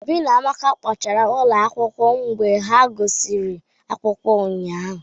Obi na Amaka kpochara ụlọ akwụkwọ mgbe ha gụsịrị akwụkwọ ụnyahụ